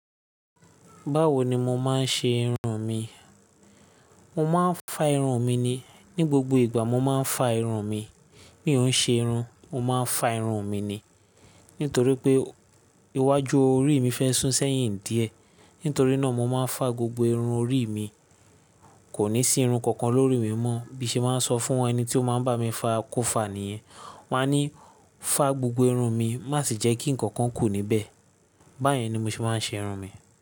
Báwo ni mo máa ń ṣe irun mi? Mo máa ń fa irun mi ni. Ni gbogbo ìgbà mo máa ń fa irun mi. Mi ò ń ṣe irun, ó máa ń fa irun mi ni. Nítorí pé iwájú orí mi fẹ́ sún sẹ́yìn díẹ̀. Nítorí náà mo máa ń fa gbogbo irun orí mi. Kò ní sí irun kankan lórí mi mọ́. Bí mo bá sọ fún ẹni tí ó máa ń bá mi fa kó fa níyẹn. Mo máa ní fá gbogbo irun mi má sì jẹ́ kí nǹkan kan kù níbẹ̀. Báyìí ni mo ṣe máa ń ṣe irun mi.